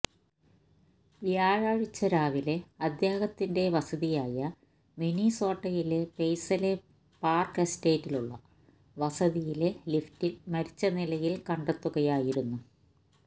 വ്യാഴാഴ്ച രാവിലെ അദ്ദേഹത്തിന്റെ വസതിയായ മിനിസോട്ടയിലെ പെയ്സലെ പാര്ക്ക് എസ്റ്റേറ്റിലുള്ള വസതിയിലെ ലിഫ്റ്റില് മരിച്ച നിലയില് കണ്ടെത്തുകയായിരുന്നു